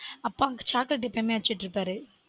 அப்பா வந்து chocolate எப்போதுமே வச்சிட்டு இருப்பாரு